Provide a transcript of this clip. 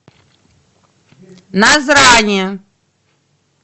назрани